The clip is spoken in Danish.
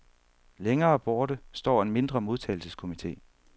Længere borte står en mindre modtagelseskomite.